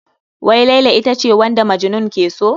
Wai Laila ita ce wanda Majnun ke so?